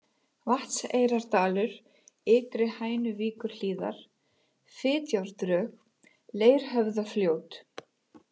Vatnseyrardalur, Ytri-Hænuvíkurhlíðar, Fitjárdrög, Leirhöfðafljót